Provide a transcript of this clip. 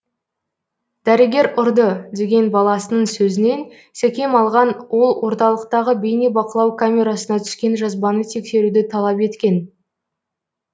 дәрігер ұрды деген баласының сөзінен секем алған ол орталықтағы бейнебақылау камерасына түскен жазбаны тексеруді талап еткен